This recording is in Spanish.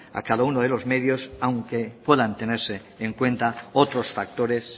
a cada uno de los medios aunque puedan tenerse en cuenta otros factores